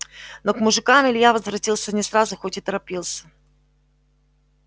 но к мужикам илья возвратился не сразу хоть и торопился